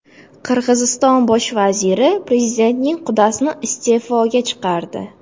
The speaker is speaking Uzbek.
Qirg‘iziston bosh vaziri prezidentning qudasini iste’foga chiqardi.